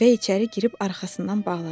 və içəri girib arxasından bağladı.